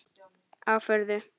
Á furðu